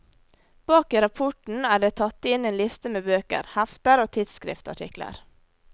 Bak i rapporten er det tatt inn en liste med bøker, hefter og tidsskriftartikler.